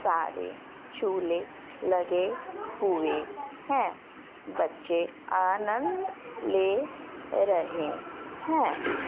सारे झूले लगे हुए हैं बच्चे आनंद ले रहे हैं।